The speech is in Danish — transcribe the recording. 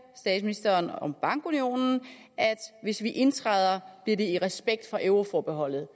statsministeren om bankunionen at hvis vi indtræder i det i respekt for euroforbeholdet